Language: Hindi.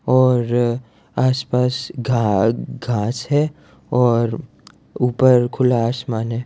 और आस-पास घा घास है और ऊपर खुला आसमान है।